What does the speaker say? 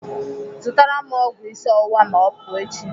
Zụtara m ọgwụ isi ọwụwa ma ọ pụọ echi.